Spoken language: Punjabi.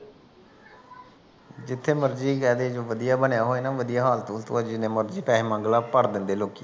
ਜਿੱਥ ਮਰਜੀ ਕਹਿ ਦੇ ਜੋ ਵਧੀਆ ਬਣਿਆ ਹੋਇਆ ਨਾ ਵਧੀਆ ਹਾਲਤ ਹੂਲਤ ਹੋ ਜਏ ਜਿੰਨੇ ਮਰਜੀ ਪੈਸੇ ਮੰਗ ਲਾ ਭਰ ਦਿੰਦੇ ਆ ਲੋਕੀ